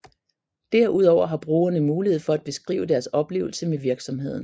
Derudover har brugerne mulighed for at beskrive deres oplevelse med virksomheden